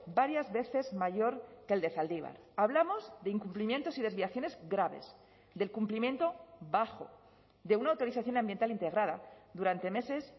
varias veces mayor que el de zaldibar hablamos de incumplimientos y desviaciones graves del cumplimiento bajo de una autorización ambiental integrada durante meses